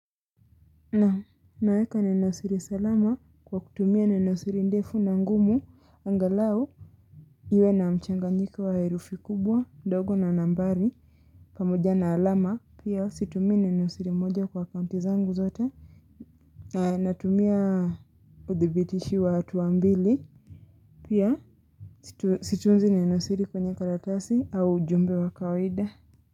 Nam naweka nenosiri salama kwa kutumia nenosiri ndefu na ngumu angalau iwe na mchanganyiko wa herufi kubwa ndogo na nambari pamoja na alama pia situmia nenosiri moja kwa akaunti zangu zote. Na natumia udhibitishi wa hatuambili. Pia situnzi ninosiri kwenye kalatasi au ujumbe wa kawida.